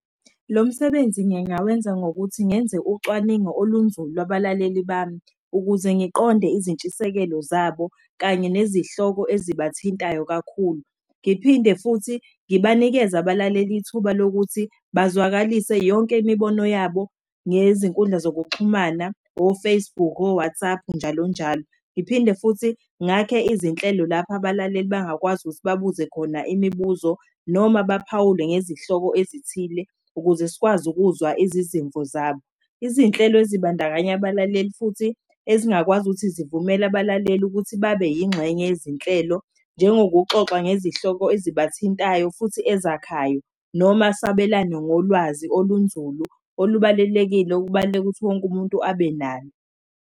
Lo msebenzi ngingawenza ngokuthi ngenze ucwaningo olunzulu abalaleli bami ukuze ngiqonde izintshisekelo zabo kanye nezihloko ezibathintayo kakhulu. Ngiphinde futhi ngibanikeze abalaleli ithuba lokuthi bazwakalise yonke imibono yabo ngezinkundla zokuxhumana, o-Facebook, o-WhatsApp, njalonjalo. Ngiphinde futhi ngakhe izinhlelo lapha abalaleli bangakwazi ukuthi babuze khona imibuzo, noma baphawule ngezihloko ezithile ukuze sikwazi ukuzwa izizimvo zabo. Izinhlelo ezibandakanya abalaleli futhi ezingakwazi ukuthi zivumela abalaleli ukuthi babe yingxenye yezinhlelo njengokuxoxa ngezihloko ezibathintayo, futhi ezakhayo, noma sabelane ngolwazi olunzulu, olubalulekile, kubaluleke ukuthi wonke umuntu abe nalo.